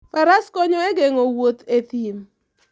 Faras konyo e geng'o wuoth e thim.